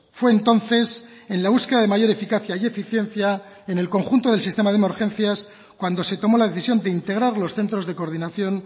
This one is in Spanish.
fue entonces en la búsqueda de mayor eficacia y eficiencia en el conjunto del sistema de emergencias cuando se tomó la decisión de integrar los centros de coordinación